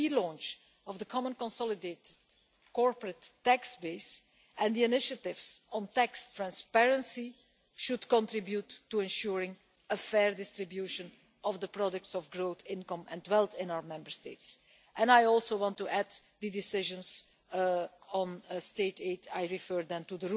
The re launch of the Common Consolidated Corporate Tax Base and the initiatives on tax transparency should contribute to ensuring a fair distribution of the products of growth, income and wealth in our Member States. I also want to add the decisions on state aid I refer to